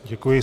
Děkuji.